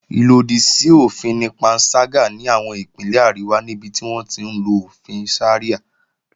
Ìlòdì sí òfin ni panṣágà ní àwọn Ìpínlẹ̀ àríwá níbi tí wọ́n ti ń lo òfin Sharia